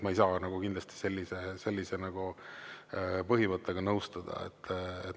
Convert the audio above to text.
Ma ei saa kindlasti sellise põhimõttega nõustuda.